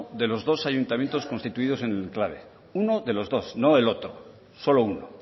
de los dos ayuntamientos constituidos en el enclave uno de los dos no el otro solo uno